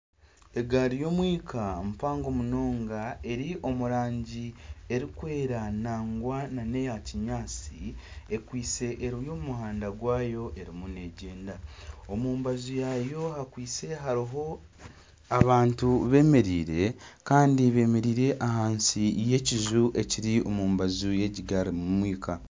Egaari y'omwika mpango munonga eri omurangi erikwera nangwa neya kinyaatsi ekwiste eri omumuhanda gwayo erimu negyenda. Omumbaju rwayo hakwiste hariho abantu bemereire Kandi bemereire ahansi y'ekiju ekiri omumbaju yegi gari y'omwika.